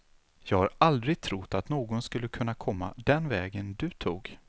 Jag har aldrig trott att någon skulle kunna komma den vägen du tog.